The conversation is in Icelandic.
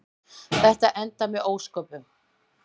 Þetta endar með ósköpum.